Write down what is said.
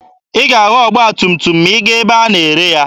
Ị ga-ahụ ọgba tum tum ma ị gaa ebe a na-ere ya.